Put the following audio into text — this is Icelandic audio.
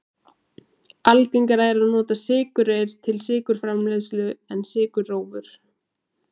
Algengara er að nota sykurreyr til sykurframleiðslu en sykurrófur.